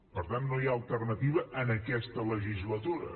per tant no hi ha alternativa en aquesta legislatura